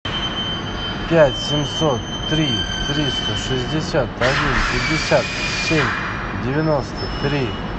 пять семьсот три триста шестьдесят один пятьдесят семь девяносто три